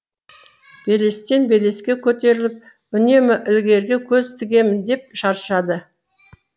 белестен белеске көтеріліп үнемі ілгеріге көз тігемін деп шаршады